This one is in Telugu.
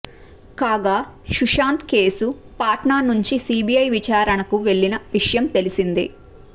కాగా సుశాంత్ కేసు పాట్నా నుంచి సీబీఐ విచారణకు వెళ్లిన విషయం తెలిసిందే